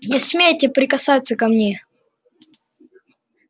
не смейте прикасаться ко мне